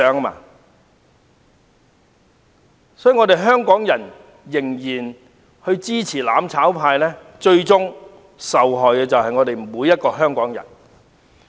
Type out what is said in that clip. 因此，如果香港人仍然支持"攬炒派"，最終受害的將是我們每一位香港人。